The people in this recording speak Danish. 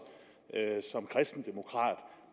som kristendemokrat